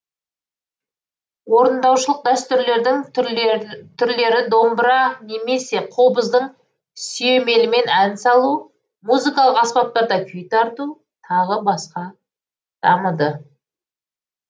орындаушылық дәстүрлердің түрлері домбыра немесе қобыздың сүйемелімен ән салу музыкалық аспаптарда күй тарту тағы басқа дамыды